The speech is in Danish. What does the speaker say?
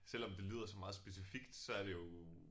Selvom det lyder sådan meget specifikt så er det jo